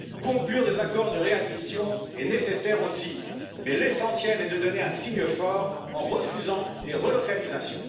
Conclure des accords de réadmission est nécessaire aussi, mais l'essentiel est de donner un signe fort en refusant les relocalisations.